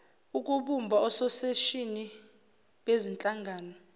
ukubumba ososeshini bezinhlangano